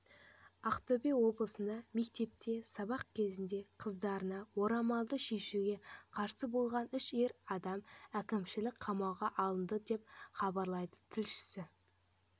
ақтөбе облысында мектепте сабақ кезінде қыздарынан орамалды шешуге қарсы болған үш ер адам әкімшілік қамауға алынды деп хабарлайды тілшісі